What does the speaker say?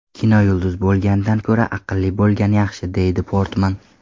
Kinoyulduz bo‘lgandan ko‘ra, aqlli bo‘lgan yaxshi”, deydi Portman.